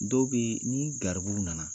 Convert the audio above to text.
Dɔw bɛ yen ni garibu nana